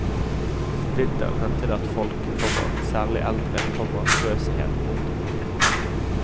Om vinteren hendte det at folk, komma særlig eldre, komma frøs ihjel. punktum